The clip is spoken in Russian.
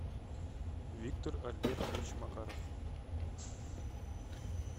виктор альбертович макаров